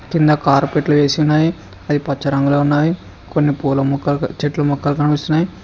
కింద కార్పెట్లు వేసి ఉన్నవి అవి పచ్చ రంగులో ఉన్నవి కొన్ని పూల మొక్కలు చెట్ల మొక్కలు కనిపిస్తున్నాయి.